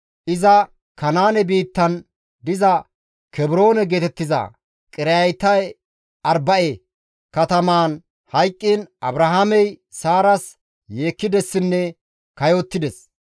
iza Kanaane biittan diza (Kebroone geetettiza) Qiriyaate-Arba7e katamaan hayqqiin Abrahaamey Saaras yeekkidessinne kayottides.